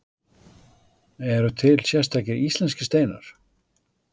Eru til sérstakir íslenskir steinar?